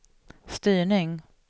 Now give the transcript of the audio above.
styrning